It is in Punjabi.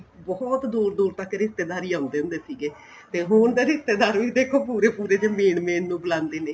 ਬਹੁਤ ਦੂਰ ਦੂਰ ਤੱਕ ਰਿਸ਼ਤੇਦਾਰ ਆਉਦੇ ਹੁੰਦੇ ਸੀਗੇ ਤੇ ਹੁਣ ਤੇ ਰਿਸ਼ਤੇਦਾਰ ਵੀ ਦੇਖੋ ਪੂਰੇ ਪੂਰੇ ਜ਼ੇ main ਨੂੰ ਬੁਲਾਦੇ ਨੇ